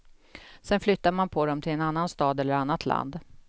Sen flyttar man på dem till en annan stad eller annat land.